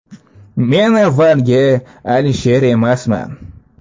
Men avvalgi Alisher emasman.